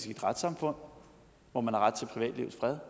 i et retssamfund hvor man har ret til privatlivets fred